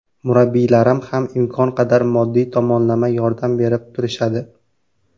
Murabbiylarim ham imkon qadar moddiy tomonlama yordam berib turishadi.